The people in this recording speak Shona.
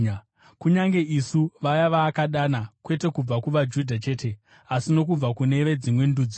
kunyange isu, vaya vaakadana, kwete kubva kuvaJudha chete asi nokubva kune veDzimwe Ndudziwo?